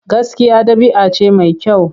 Gaskiya ɗabi'a ce mai kyau.